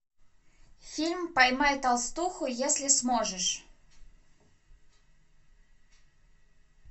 фильм поймай толстуху если сможешь